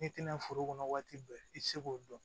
N'i tɛna foro kɔnɔ waati bɛɛ i ti se k'o dɔn